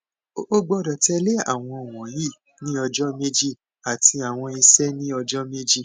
o gbọdọ tẹle awọn wọnyi ni ọjọ meji ati awọn iṣẹ ni ọjọ meji